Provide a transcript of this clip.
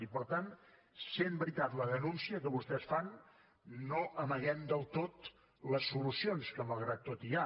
i per tant sent veritat la denúncia que vostès fan no amaguem del tot les solucions que malgrat tot hi ha